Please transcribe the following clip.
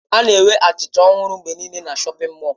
A na-enwe achịcha ọhụrụ mgbe niile na shọpin mọll.